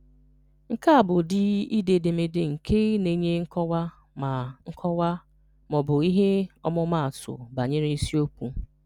Nke a bụ ụdị ide edemede nke na-enye nkọwa ma nkọwa ma ọ bụ ihe ọmụmaatụ banyere isiokwu.